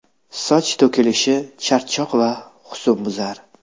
Soch to‘kilishi, charchoq va husnbuzar.